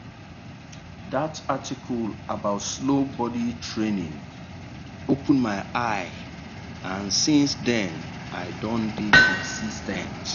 that article about slow body training open my eye and since then i don dey consis ten t.